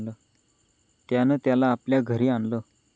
त्यानं त्याला आपल्या घरी आणलं.